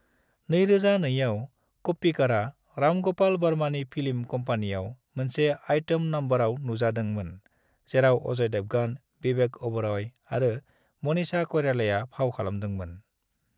2002 आव, कोप्पिकरा राम गोपाल वर्मानि फिल्म कंपनीआव मोनसे आइटम नमबराव नुजादोंमोन जेराव अजय देवगन, विवेक ओबेरॉय आरो मनीषा कइरालाया फाव खालामदोंमोन।